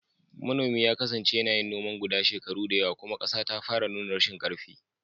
Manomin ya kasance yana yin noman guda shekaru da yawa, kuma ƙasa ta fara nuna rashin ƙarfi.